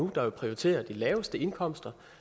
der prioriterer de laveste indkomster